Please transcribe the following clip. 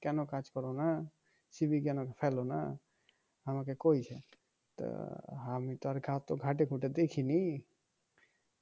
কেন কাজ করনা সিভি কেন ফেলনা আমাকে কয়েছে তা আমি তো আর অত ঘেঁটেঘুঁটে দেখিনি